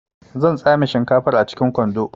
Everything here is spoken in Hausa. Zan tsame shinkafar a cikin kwando